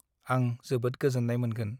आं जोबोद गोजोननाय मोनगोन ।